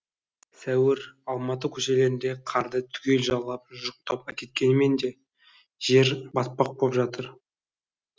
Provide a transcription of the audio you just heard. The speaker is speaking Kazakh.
сәуір алматы көшелеріндегі қарды түгел жалап жұқтап әкеткенімен де жер батпақ боп жатыр